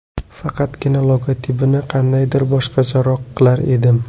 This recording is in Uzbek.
Faqatgina logotipini qandaydir boshqacharoq qilar edim.